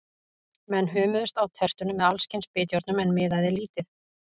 Menn hömuðust á tertunum með alls kyns bitjárnum, en miðaði lítið.